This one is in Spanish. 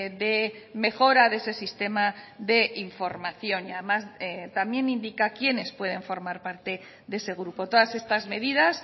de mejora de ese sistema de información y además también indica quiénes pueden formar parte de ese grupo todas estas medidas